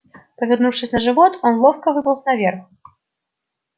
повернувшись на живот он ловко выполз наверх